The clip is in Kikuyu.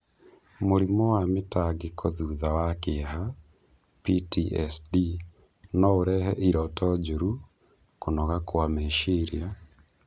Mũrimũ wa mĩtangĩko thutha wa kĩeha (PTSD) no ũrehe iroto njũru, kũnoga kwa meciria,